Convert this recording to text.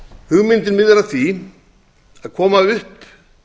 hugmyndin miðar að því að koma upp